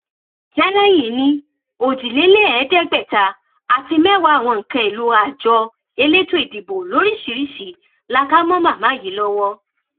tẹlẹyìn ní ojiléláéédégbáta àti mẹwàá àwọn nǹkan èèlò àjọ elétò ìdìbò lóríṣìíríṣìí la kà mọ màmá yìí lọwọ